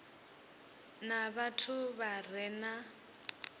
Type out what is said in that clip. na vhathu vha re na